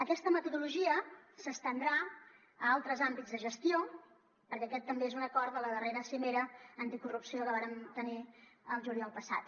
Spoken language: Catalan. aquesta metodologia s’estendrà a altres àmbits de gestió perquè aquest també és un acord de la darrera cimera anticorrupció que vàrem tenir el juliol passat